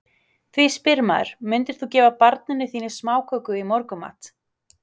Því spyr maður, myndir þú gefa barninu þínu smákökur í morgunmat?